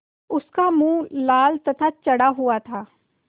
उसका मुँह लाल तथा चढ़ा हुआ था